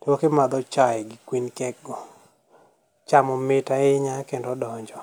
koki madho chae gi kuin kekgo, chamo mit ahinya kendo donjo.